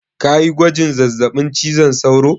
Kayi gwajin zazzaɓin cizon sauro?